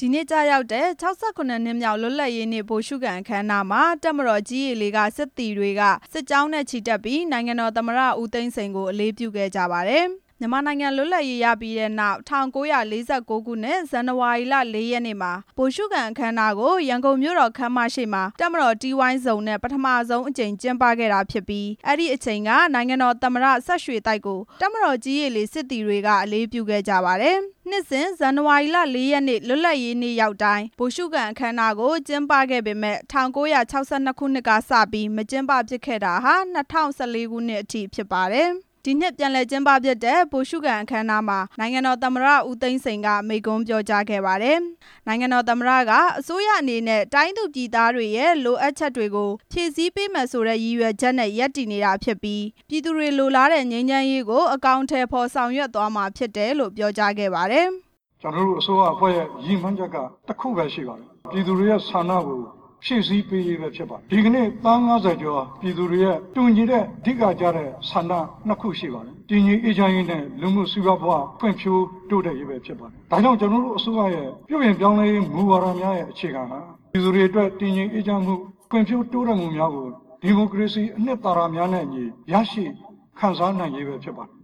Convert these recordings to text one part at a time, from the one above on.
ဒီနေ့ ကျရောက်တဲ့ ၆၇ နှစ်မြောက် လွတ်လပ်ရေးနေ့ ဗိုလ်ရှုခံအခမ်းအနားမှာ တပ်မတော် ကြည်း၊ ရေ၊ လေ က စစ်သည်တွေက စစ်ကြောင်းနဲ့ ချီတက်ပြီး နိုင်ငံတော်သမ္မတ ဦးသိန်းစိန်ကို အလေးပြုခဲ့ကြပါတယ်။ မြန်မာနိုင်ငံလွတ်လပ်ရေးရပြီးနောက် ၁၉၄၉ ခုနှစ် ဇန်နဝါရီလ ၄ရက်နေ့မှာ ဗိုလ်ရှုခံအခမ်းအနားကို ရန်ကုန်မြို့တော်ခန်းမရှေ့မှာ တပ်မတော်တီးဝိုင်းစုံနဲ့ ပထမဆုံးအကြိမ် ကျင်းပခဲ့ရာ အဲ့ဒီအချိန်က နိုင်ငံတော်သမ္မတ စဝ်ရွှေသိုက်ကို တပ်မတော် ကြည်း၊ ရေ၊ လေ စစ်သည်တွေက အလေးပြုခဲ့ကြပါတယ်။ နှစ်စဉ် ဇန်နဝါရီလ ၄ရက်နေ့ လွတ်လပ်ရေးနေ့တိုင်း ဗိုလ်ရှုခံအခမ်းအနားကို ကျင်းပခဲ့ရာကနေ ၁၉၆၂ ခုနှစ်ကစပြီး မကျင်းပဖြစ်ခဲ့တာ ၂၀၁၄ ခုနှစ်အထိ ဖြစ်ပါတယ်။ ဒီနှစ်ပြန်လည်ကျင်းပဖြစ်တဲ့ ဗိုလ်ရှုခံအခမ်းအနားမှာ နိုင်ငံတော်သမ္မတဦးသိန်းစိန်က မိန့်ခွန်းပြောကြားခဲ့ပါတယ်။ နိုင်ငံတော်သမ္မတက အစိုးရအနေနဲ့ တိုင်းသူပြည်သားတွေ လိုလားချက်မှုကို ဖြည့်ဆည်းပေးမယ်ဆိုတဲ့ ရည်ရွယ်ချက်နဲ့ ရပ်တည်နေ တာဖြစ်ပြီး ပြည်သူ လိုလားနေတဲ့ငြိမ်းချမ်းရေးကို အကောင်အထည်ဖော် ဆောင်ရွက်သွားမှာ ဖြစ်တယ်လို့ ပြောကြားခဲ့ပါတယ်။ ကျနော်တို့ အစိုးရအဖွဲ့ရဲ့ရည်မှန်းချက်က တစ်ခုပဲရှိပါတယ်၊ ပြည်သူလူထုရဲ့ဆန္ဒကို ဖြည့်စည်းပေးရေး ပဲဖြစ်ပါတယ်၊ ဒီကနေ့ သန်း ၅၀ ကျော်ပြည် သူတွေရဲ့ တူညီတဲ့ အဓိကကျတဲ့ ဆန္ဒနှစ်ခုရှိပါတယ်၊ တည်ငြိမ် အေးချမ်းရေးနဲ့ လူမှုစီပွားဘဝဖွံ့ဖြိုးတိုးတက်ရေးဖြစ်ပါတယ်၊ ဒါကြောင့် ကျနော်တို့ အစိုးရရဲ့ ပြုပြင်ပြောင်းလဲရေး မူဝါဒများရဲ့အခြေခံဟာ ပြည်သူတွေအတွက် တည်ငြိမ်အေးချမ်းမှု၊ ဖွံ့ဖြိုးတိုးတက်မှုများကို ဒီမိုကရေစီ အနှစ် သာရများ နဲ့အညီ ရရှိခံစားနိုင်ရေးပဲဖြစ်ပါတယ်။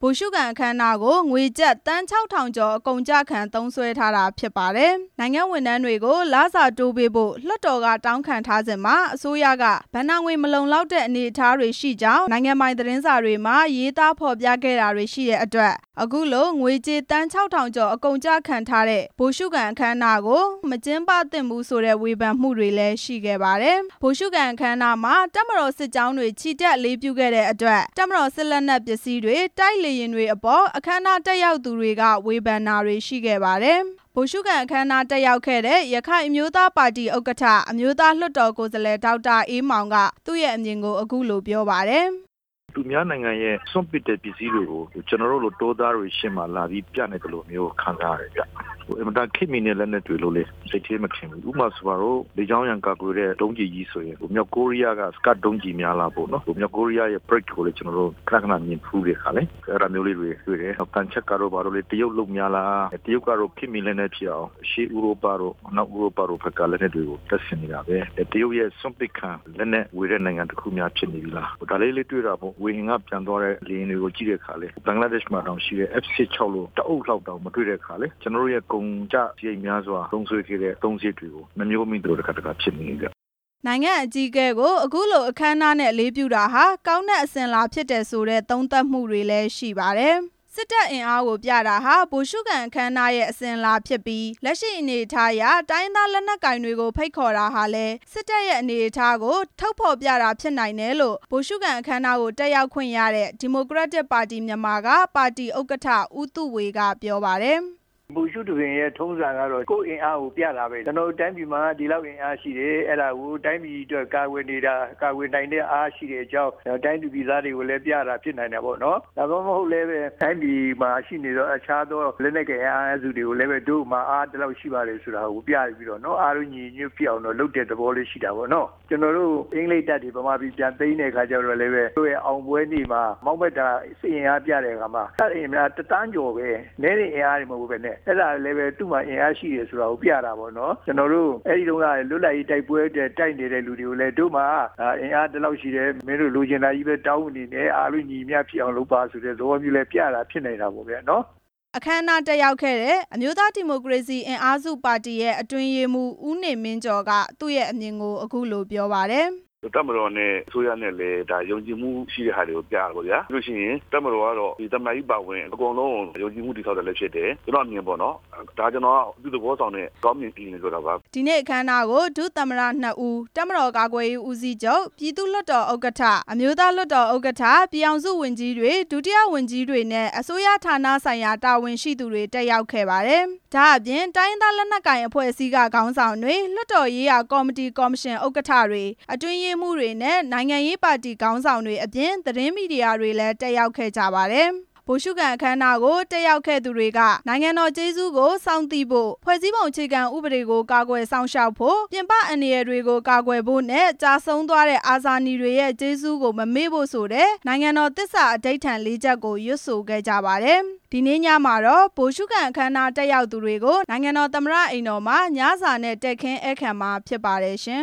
အဲ့ဒီဗိုလ်ရှုခံအခမ်းအနားကို ငွေကျပ် သန်း ၆ ထောင်ကျော်အကုန်အကျခံသုံးစွဲထားတာဖြစ်ပါတယ်။ နိုင်ငံဝန်ထမ်းတွေကို လစာတိုးပေးဖို့ လွှတ်တော်ကတောင်းခံထားစဉ်မှာ အစိုးရက ဘဏ္ဍာငွေမလုံလောက်တဲ့ အနေအထားတွေရှိကြောင်း အစိုးရ သတင်းစာတွေမှာ ရေးသားဖော်ပြတာတွေရှိခဲ့ပြီး အခုလိုငွေကြေး သန်း ၆ ထောင်ကျော် အကုန်အကျခံထားတဲ့ ဗိုလ်ရှုခံအခမ်းအနားကို မကျင်းပ သင့်ကြောင်းဝေဖန်မှုတွေ ရှိခဲ့ပါတယ်။ ဒါ့အပြင် ဗိုလ်ရှုခံအခမ်းအနားမှာ တပ်မတော် စစ်ကြောင်းတွေနဲ့ ချီတက်အလေးပြုခဲ့တဲ့အတွက် တပ်မတော်ရဲ့ စစ်လက်နက်ပစ္စည်းတွေ၊ တိုက်လေယာဉ်တွေ ကို တွေ့ရှိခဲ့တဲ့အပေါ် အခမ်းအနားတက်ရောက်သူတွေက ဝေဖန်မှုတွေလည်း ရှိပါတယ်။ ဒါနဲ့ပတ်သက်ပြီး အခမ်းအနားတက်ရောက်ခဲ့တဲ့ ရခိုင်အမျိုးသားပါတီ ဥက္ကဌ အမျိုးသားလွှတ်တော်ကိုယ်စားလှယ် ဒေါက်တာအေးမောင်က သူ့အမြင်ကို အခုလိုပြောပါတယ်။ သူများနိုင်ငံရဲ့စွန့်ပစ်တဲ့ ပစ္စည်းတွေကို ကျနော်တို့လို တောသားတွေရှေ့မှာ လာပြီးပြနေသလိုမျိုး ခံစား ရပါတယ်ခင်ဗျ၊ အင်မတန် ခေတ်မှီတဲ့ လက်နက်တွေလို့လဲ စိတ်ထဲမထင်ဘူး၊ ဥပမာဆိုပါစို့ လေကြောင်း ရန်ကို ကာကွယ်တဲ့ ဒုံးကျည်ကြီးတွေဆိုရင် မြောက်ကိုးရီးယားက စကတ် ဒုံးကျည်များလားပေါ့နော်၊ အဲ့ဒါမျိုးလေး တွေတွေ့တယ်၊ သံချပ်ကာတို့ ဘာတို့လဲ တရုတ်လုပ်များလားပေါ့နော်၊ တရုတ်ကတော့ ခေတ်မှီ လက်နက် ဖြစ်အောင် အရှေ့ဥရောပတို့၊ အနောက်ဥရောပတို့ ဖက်ကလက်နက်တွေကို တက်ဆင်နေတာပဲ၊ တရုတ်ရဲ့ စွန့်ပစ်ခံ လက်နက်ဝယ် တဲ့ နိုင်ငံတစ်ခုများဖြစ်နေပြီလား၊ ဒါလေးလဲတွေ့တာပေါ့ ဝေဟင်ကပျံသွားတဲ့ လေယာဉ် တွေကို ကြည့်တဲ့အခါလဲ ဘင်္ဂလားဒေ့ရှ်မှာရှိတဲ့ ဟာမျိုးတွေ မတွေ့ရတဲ့ခါ ကျနော်တို့ရဲ့ကုန်ကျစရိတ်များစွာ သုံး စွဲခဲ့တဲ့ အသုံးစရိတ်တွေကို တစ်ခါတစ်ခါ နှမျောမိတယ်ဗျ။ နိုင်ငံအကြီးအကဲကို အခုလိုအခမ်းအနားနဲ့အလေးပြုတာဟာ ကောင်းတဲ့အစဉ်အလာဖြစ်တယ်ဆိုတဲ့ သုံးသပ်မှုတွေလည်း ရှိပါတယ်။ စစ်တပ်အင်အားကို ပြတာဟာ ဗိုလ်ရှုခံအခမ်းအနားရဲ့အစဉ်အလာဖြစ်ပြီး လက်ရှိအနေအထားအရ တိုင်းရင်းသားလက်နက်ကိုင်တွေဖိတ်ခေါ်တာဟာလည်း စစ်တပ်ရဲ့အနေအထား ကိုထုတ်ဖော်ပြတာ ဖြစ်နိုင်တယ်လို့ ဗိုလ်ရှုခံအခမ်းအနားကို တက်ရောက်ခွင့်ရတဲ့ ဒီမိုကရက်တစ်ပါတီမြန်မာက ပါတီဥက္ကဌ ဦးသုေ၀ ကပြောပါတယ်။ ဗိုလ်ရှုသဘင်ရဲ့ထုံးစံကတော့ ကိုယ်အင်အားကိုပြတာပဲ၊ ကျနော်တို့ တိုင်းပြည်မှာ ဒီလောက်အင်အားရှိတယ်၊ အဲ့ဒါကို တိုင်းပြည်အတွက်ကာကွယ်နိုင်တဲ့ အားရှိတယ်ဆိုတဲ့အကြောင်း၊ တိုင်းသူပြည်သားတွေကိုလဲ ပြတာ ဖြစ်နိုင်တယ်ပေါ့နော်၊ ဒါမှမဟုတ်လဲ တိုင်းပြည်မှာရှိနေတဲ့ အခြားသောလက်နက်ကိုင် အင်အားစုတွေကိုလဲ တို့မှာ ဒီလောက်ရှိတယ်ဆိုပြီးတော့ပေါ့နော်၊ အားလုံးညီညီ ညွတ်ညွတ်ဖြစ်အောင်တော့လုပ်တဲ့ သဘောလေး ရှိတာ ပေါ့နော်၊ ကျနော်တို့ကိုအင်္ဂလိပ်တပ်တွေဗမာပြည်ပြန်သိမ်းတဲ့ အခါကျတော့လဲပဲ သူတို့ရဲ့အောင်ပွဲနေ့မှာ စစ် အင်အားပြတဲ့အခါမှာ စစ်အင်အား ၁ သန်းကျော်ပဲ၊ နည်းတဲ့အင်အားတွေ မဟုတ်ဘဲနဲ့ အဲ့ဒါလဲ သူ့မှာ အင်အား ရှိတယ်ဆိုတာကို ပြတာပေါ့နော်၊ ကျနော်တို့ အဲ့ဒီတုန်းက လွတ်လပ်ရေးတိုက်ပွဲအတွက် တိုက်နေတဲ့ သူတွေကို လဲ တို့မှာအင်အားဒီလောက်ရှိတယ်၊ မင်းတို့လိုချင်တာပဲတောင်းမနေနဲ့ အားလုံး ညီညီမျှမျှဖြစ်အောင်လုပ်ပါဆို တဲ့ သဘောမျိုးလဲပြတာဖြစ်နိုင်တာပေါ့ဗျာနော်။ အခမ်းအနားတက်ရောက်ခဲ့တဲ့ အမျိုးသားဒီမိုကရေစီ အင်အားစုပါတီ အတွင်းရေးမှူး ဦးနေမင်းကျော်က သူရဲ့အမြင်ကို အခုလိုပြောပါတယ်။ တပ်မတော်နဲ့ အစိုးရနဲ့လဲ ဒါယုံကြည်မှုရှိတဲ့ဟာတွေကို ပြတာပေါ့ဗျာ၊ ပြီးရင် တပ်မတော်ကတော့ သမ္မတကြီးအပါအဝင် အကုန်လုံးကို ယုံကြည်မှု တည်ဆာက်တာလဲဖြစ်တယ်၊ ကျနော်အမြင်ပေါ့နော်၊ ဒီနေ့အခမ်းအနားကို ဒုတိယသမ္မတ ၂ဦး၊ တပ်မတော်ကာကွယ်ရေးဦးစီးချုပ်၊ ပြည်သူ့လွှတ်တော် ဥက္ကဌ၊ အမျိုးသားလွှတ်တော် ဥက္ကဌ၊ ပြည်ထောင်စု ဝန်ကြီးတွေ၊ ဒုတိယဝန်ကြီးတွေနဲ့ အစိုးရဌာနဆိုင်ရာ တာဝန်ရှိသူ တွေ တက်ရောက်ခဲ့ပါတယ်။ ဒါ့အပြင် တိုင်းရင်းသားလက်နက်ကိုင်အဖွဲ့အစည်းတွေ ခေါင်းဆောင်တွေ၊ လွှတ်တော်ရေးရာကော်မတီ၊ ကော်မရှင် ဥက္ကဌ၊ အတွင်းရေးမှူးတွေ နဲ့ နိုင်ငံရေးပါတီ ခေါင်းဆောင်တွေနဲ့ သတင်းမီဒီယာသမားတွေလည်း တက်ရောက်ခဲ့ပါတယ်။ ဗိုလ်ရှုခံအခမ်းအနားမှာ တက်ရောက်ခဲ့သူတွေက နိုင်ငံတော်ကျေးဇူးကိုစောင့်သိဖို့၊ ဖွဲ့စည်းပုံအခြေခံ ဥပဒေ ကိုကာကွယ်စောင့်ရှောက်ဖို့၊ ပြင်ပ အန္တရာယ်တွေကို ကာကွယ်ဖို့နဲ့ ကျဆုံးသွားတဲ့အာနည်တွေရဲ့ ကျေးဇူး ကိုမမေ့ဖို့ ဆိုတဲ့ နိုင်ငံတော်သစ္စာအဓိဌာန် ၄ချက်ကို ရွတ်ဆိုခဲ့ကြပါတယ်။ ဒီနေ့ ညမှာတော့ ဗိုလ်ရှုခံအခမ်းအနားတက်ရောက်သူတွေကို နိုင်ငံတော်သမ္မတ အိမ်တော်မှာ ညစာနဲ့ တည်ခင်းဧည့်ခံမှာဖြစ်ပါတယ်ရှင